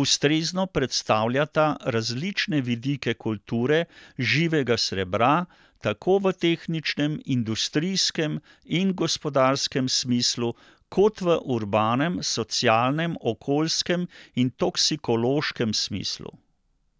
ustrezno predstavljata različne vidike kulture živega srebra, tako v tehničnem, industrijskem in gospodarskem smislu kot v urbanem, socialnem, okoljskem in toksikološkem smislu.